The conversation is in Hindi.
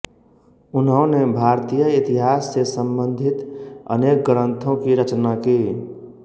उन्होने भारतीय इतिहास से सम्बन्धित अनेक ग्रन्थों की रचना की